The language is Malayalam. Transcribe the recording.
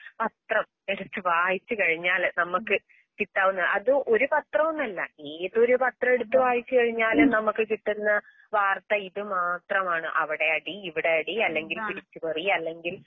പത്രം എടുത്തുവായിച്ചുകഴിഞ്ഞാല് നമുക്ക് കിട്ടാവുന്ന അത് ഒരുപാത്രവുമല്ല ഏതൊരുപത്രവെടുത്തുവായിച്ചുകഴിഞ്ഞാലും നമുക്ക്കിട്ടുന്ന വാർത്തയിതുമാത്രമാണ്.അവിടെയടി ഇവിടെയടി അല്ലെങ്കിൽ പിടിച്ച്പറി അല്ലെങ്കിൽ